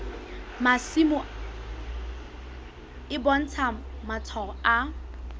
masimo e bontsha matshwao a